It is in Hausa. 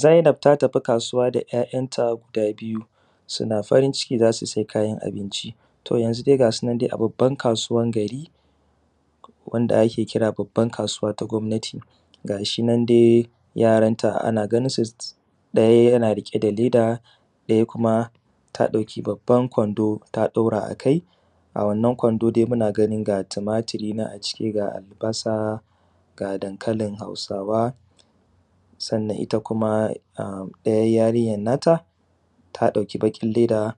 Zainab ta tafi kasuwa da ‘ya’yanta guda biyu. Suna farin ciki za su sai kayan abinci to yanzu dai gasu nan a babban kasuwan gari, wanda ake kira babban kasuwa ta gomnati gashi nan dai yaranta ana ganin su daya yana riƙe da leda ɗaya kuma ta ɗauki babban kwando ta ɗaura a kai, a wannan kwando dai muna gani ga tumatiri nan ga albasa ga dankalin Hausawa, sannan ita kuma ɗaya ita yarinyar nata ta ɗauki baƙin leda